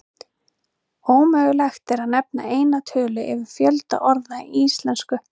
Ómögulegt er að nefna eina tölu yfir fjölda orða í íslensku.